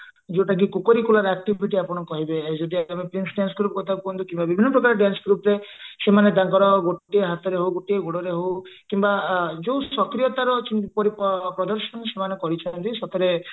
ଯୋଉଟା କି କୂଳରେ activity ଆପଣ କହିବେ ଯଦି ଆପଣ ପ୍ରିନ୍ସ dance group କଥା କୁହନ୍ତୁ କିମ୍ବା ବିଭିନ୍ନ ପ୍ରକାର dance group ରେ ସେମାନେ ତାଙ୍କର ଗୋଟିଏ ହାତରେ ହଉ ଗୋଟିଏ ଗୋଡ ରେ ହଉ କିମ୍ବା ଯୋଉ ସକ୍ରିୟତାର ପ୍ରଦର୍ଶନ ସେମାନେ କରିଛନ୍ତି ସେଥିରେ